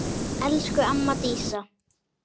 Elsku amma Dísa.